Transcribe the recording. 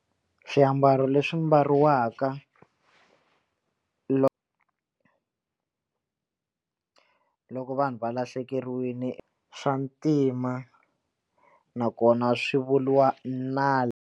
Swiambalo leswi mbariwaka loko vanhu va lahlekeriwile swa ntima nakona swi vuriwa .